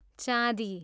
चाँदी